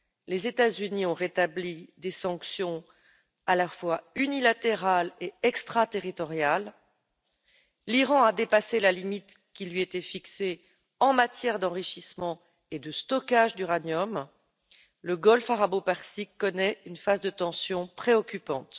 Les États Unis ont rétabli des sanctions à la fois unilatérales et extraterritoriales, l'Iran a dépassé la limite qui lui était fixée en matière d'enrichissement et de stockage d'uranium, le golfe Arabo Persique connaît une phase de tensions préoccupante.